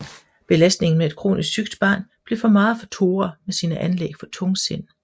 Belastningen med et kronisk sygt barn blev for meget for Tora med sine anlæg for tungsind